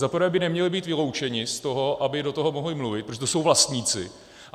Za prvé by neměli být vyloučeni z toho, aby do toho mohli mluvit, protože to jsou vlastníci.